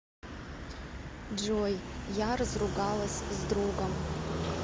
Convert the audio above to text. джой я разругалась с другом